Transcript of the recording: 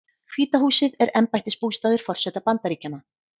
Hvíta húsið er embættisbústaður forseta Bandaríkjanna.